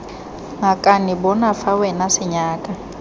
ngakane bona fa wena senyaka